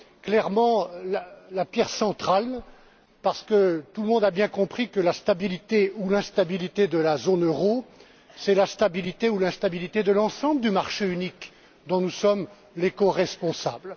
clairement la pierre centrale parce que tout le monde a bien compris que la stabilité ou l'instabilité de la zone euro, c'est la stabilité ou l'instabilité de l'ensemble du marché unique, dont nous sommes les coresponsables.